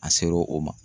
A ser'o o ma